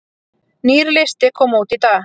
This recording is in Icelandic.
Nýr listi kom út í dag